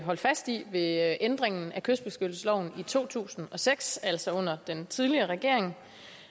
holdt fast i ved ændringen af kystbeskyttelsesloven i to tusind og seks altså under den tidligere regering